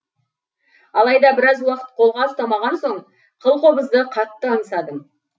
алайда біраз уақыт қолға ұстамаған соң қылқобызды қатты аңсадым